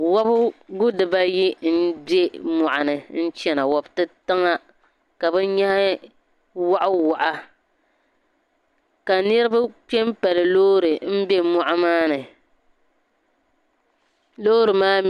Wobigu dibaayi m be mɔɣuni n chana wobi titaŋa ka bi nyehi wahiwahi ka niribi kpenpali loori m be moɣu maa ni loori maa.